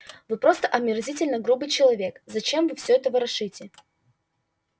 вы просто омерзительно грубый человек зачем вы все это ворошите